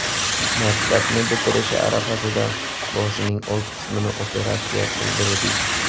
Maktabni bitirishi arafasida boshining old qismini operatsiya qildirdik.